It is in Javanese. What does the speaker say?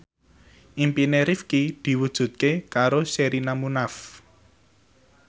impine Rifqi diwujudke karo Sherina Munaf